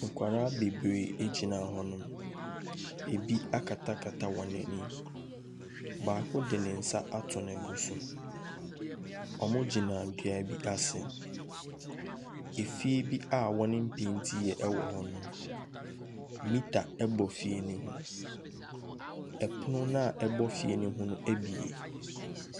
Nkwadaa bebree gyina hɔnom, bi akatakata wɔn ani. Baako de ne nsa ato ne bo so. Wɔgyina dua ase, fie bi wɔmpeentiiɛ wɔ hɔnom, metre bɔ fie ne ho. Pono no a ɛbɔ fie no ho no abue.